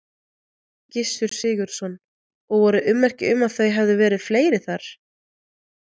Gissur Sigurðsson: Og voru ummerki um að þau hefðu verið þar fleiri?